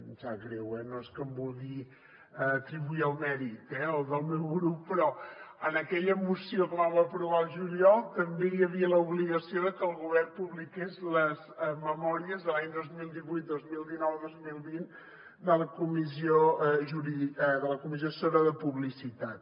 em sap greu no és que em vulgui atribuir el mèrit eh el del meu grup però en aquella moció que vam aprovar al juliol també hi havia l’obligació de que el govern publiqués les memòries de l’any dos mil divuit dos mil dinou dos mil vint de la comissió assessora de publicitat